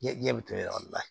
Ɲɛ bɛ t'o yɔrɔ la